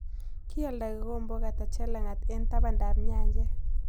Ki alda kigombook ata chelang'at en tabandap nyanjet